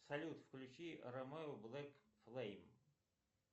салют включи ромео блэк флейм